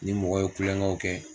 N ni mɔgɔ ye kulonkɛw kɛ.